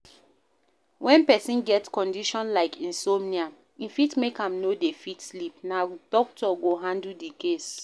When person get condition like insomnia e fit make am no dey fit sleep, na doctor go handle di case